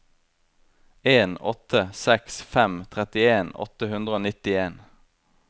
en åtte seks fem trettien åtte hundre og nittien